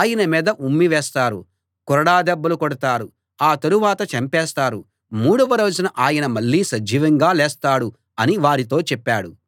ఆయన మీద ఉమ్మివేస్తారు కొరడా దెబ్బలు కొడతారు ఆ తరువాత చంపేస్తారు మూడవ రోజున ఆయన మళ్ళీ సజీవంగా లేస్తాడు అని వారితో చెప్పాడు